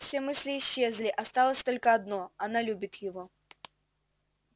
все мысли исчезли осталось только одно она любит его